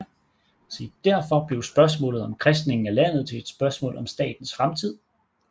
Derfor blev spørgsmålet om kristningen af landet til et spørgsmål om statens fremtid